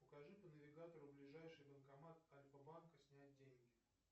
покажи по навигатору ближайший банкомат альфа банка снять деньги